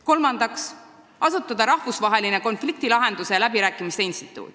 Kolmandaks, asutada rahvusvaheline konfliktilahenduste ja läbirääkimiste instituut.